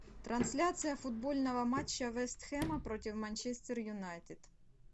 трансляция футбольного матча вест хэма против манчестер юнайтед